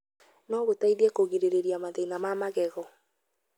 no gũteithie kũgirĩrĩria mathĩna ma magego.